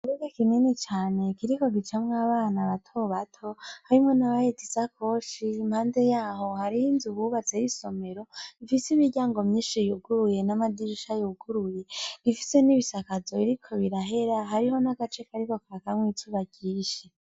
Ikibuga kinini cane kiriko gicamwo abana bato bato harimwo n'abahetse isakoshi impande yaho hari inzu bubatse y'isomero ifise imiryango myinshi yuguruye n'amadirisha yuguruye ifise n'ibisakazo biriko birahera Hariho n'agace kariko karakamwo izuba ryinshi.